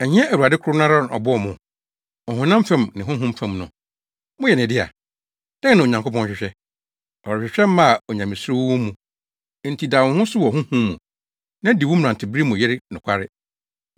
Ɛnyɛ Awurade koro no ara na ɔbɔɔ mo? Ɔhonam fam ne honhom fam no, moyɛ ne dea. Dɛn na Onyankopɔn hwehwɛ? Ɔrehwehwɛ mma a onyamesuro wɔ wɔn mu. Enti da wo ho so wɔ honhom mu, na di wo mmerantebere mu yere nokware.